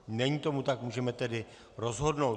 Není tomu tak, můžeme tedy rozhodnout.